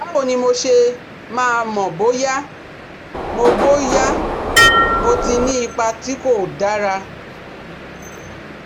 Báwo ni mo ṣe máa mọ̀ bóyá mo bóyá mo ti ní ipa tí kò dára?